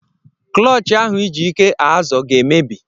Klọtch ahụ iji ike azọ ga-emebi.